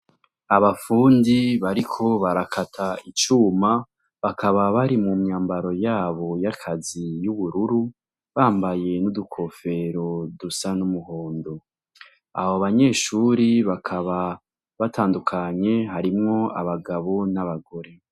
Abapfundi bariko barakata icuma bakaba bari mu myambaro yabo y'akazi y'ubururu bambaye n'udukofero dusa n'umuhondo abo banyeshuri bakaba batandukanye harimwo abagabo n'abagore.